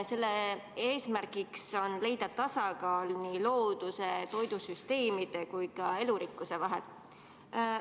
Selle eesmärk on leida tasakaal looduse, toidusüsteemide ja elurikkuse vahel.